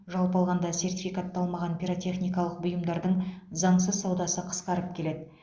жалпы алғанда сертификатталмаған пиротехникалық бұйымдардың заңсыз саудасы қысқарып келеді